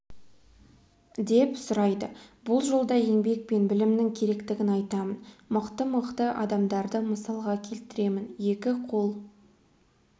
деп сұрайды бұл жолда еңбек пен білімнің керектігін айтамын мықты-мықты адамдарды мысалға келтіремін екі қол